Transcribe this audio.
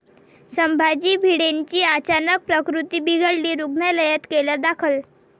संभाजी भिडेंची अचानक प्रकृती बिघडली, रुग्णालयात केलं दाखल